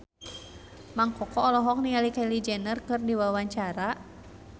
Mang Koko olohok ningali Kylie Jenner keur diwawancara